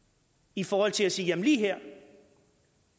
i forhold til at sige at lige her